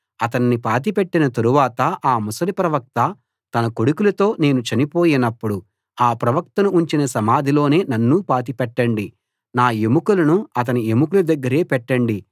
అతన్ని పాతిపెట్టిన తరువాత ఆ ముసలి ప్రవక్త తన కొడుకులతో నేను చనిపోయినప్పుడు ఆ ప్రవక్తను ఉంచిన సమాధిలోనే నన్నూ పాతిపెట్టండి నా ఎముకలను అతని ఎముకల దగ్గరే పెట్టండి